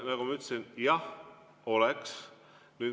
Nagu ma ütlesin, jah oleks.